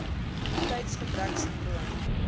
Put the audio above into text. immuniteitsgebreksindroom